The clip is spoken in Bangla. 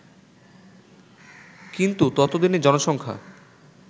কিন্তু ততদিনে জনসংখ্যা